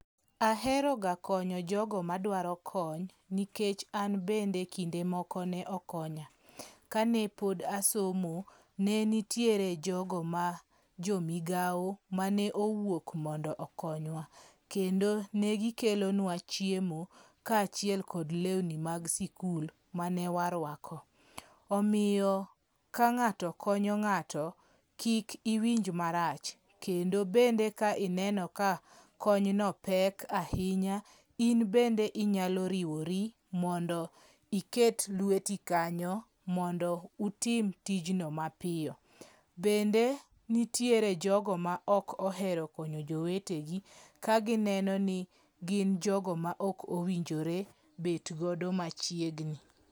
Aheroga konyo jogo madwaro kony, nikech an bende kinde moko ne okonya. Kane pod asomo, ne nitiere jogo ma jomigawo mane owuok mondo okonywa. Kendo ne gikelonwa chiemo kaachiel kod lewni mag sikul mane warwako. Omiyo ka ng'ato konyo ng'ato, kik iwinj marach. Kendo bende ka ineno ka kony no pek ahinya, in bende inyalo riwori mondo iket lweti kanyo mondo utim tijno mapiyo. Bende nitiere jogo ma ok ohero konyo jowetegi ,ka gineno ni gin jogo ma ok owinjore bet godo machiegni.